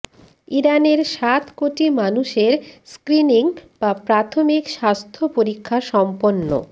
ইরানের সাত কোটি মানুষের স্ক্রিনিং বা প্রাথমিক স্বাস্থ্য পরীক্ষা সম্পন্ন